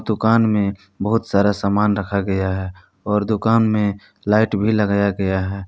दुकान में बहुत सारा सामान रखा गया है और दुकान में लाइट भी लगाया गया है।